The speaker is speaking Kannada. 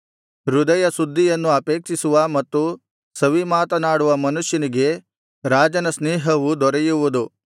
ಹೃದಯಶುದ್ಧಿಯನ್ನು ಅಪೇಕ್ಷಿಸುವ ಮತ್ತು ಸವಿಮಾತನಾಡುವ ಮನುಷ್ಯನಿಗೆ ರಾಜನ ಸ್ನೇಹವು ದೊರೆಯುವುದು